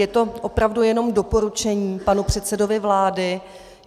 Je to opravdu jenom doporučení panu předsedovi vlády.